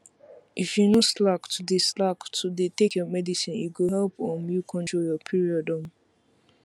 if you no slack to dey slack to dey take your medicine e go help um you control your period um